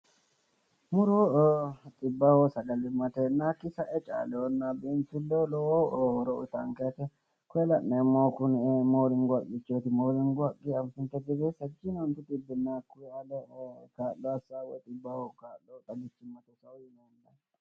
Muro xibbaho sagalimmatenna hakii sae caalehonna biinfilleho lowo horo uuyitaanke yaate koye la'neemmohu mooringu haqqichooti. Mooringu haqqicho anfinte gede 35 xibbinna hakkuyi ale xaginateho kaa'lo uuyitanno.